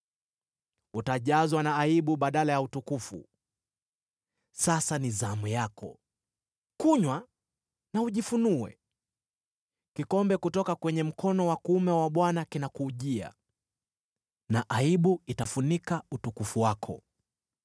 Utajazwa na aibu badala ya utukufu. Sasa ni zamu yako! Kunywa na ujifunue! Kikombe kutoka kwenye mkono wa kuume wa Bwana kinakujia, na aibu itafunika utukufu wako.